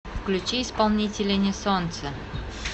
включи исполнителя несолнце